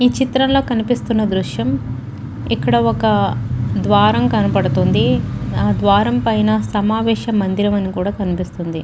ఈ చిత్రంలో కనిపిస్తున్న దృశ్యం ఇక్కడ ఒక ద్వారం కనబడుతుంది. ఇది ఆ ద్వారం పైన సమావేశం మందిరం అని కూడా కనుపిస్తుంది.